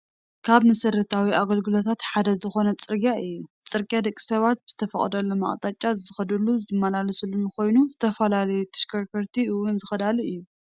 ካብ መሰረታዊ ኣገልግሎታት ሓደ ዝኾነ ፅርግያ እዩ፡፡ ፅርግያ ደቂ ሰባት ብዝተፈቐደሎም ኣቕጣጫ ዝኸዱሉን ዝመላለሱሉን ኮይኑ ዝተፈላለዩ ተሽከርከርቲ እውን ዝኸዳሉ እዩ፡፡